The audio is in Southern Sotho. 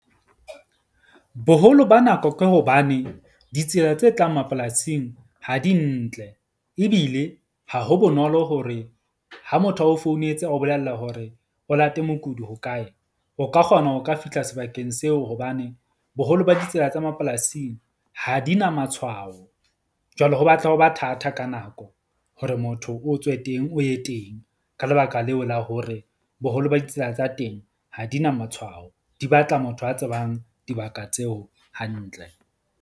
Boholo ba nako ke hobane ditsela tse tlang mapolasing ha di ntle, ebile ha ho bonolo hore ha motho a o founetse, a o bolella hore o late mokudi hokae. O ka kgona ho ka fihla sebakeng seo hobane boholo ba ditsela tsa mapolasing ha di na matshwao, jwale ho batla ho ba thata ka nako hore motho o tswe teng o ye teng. Ka lebaka leo, la hore boholo ba ditsela tsa teng ha di na matshwao. Di batla motho a tsebang dibaka tseo hantle.